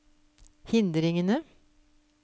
hindringene